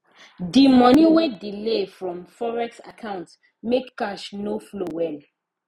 the money wey delay from forex account make cash no flow well